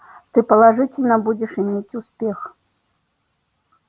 ты положительно будешь иметь успех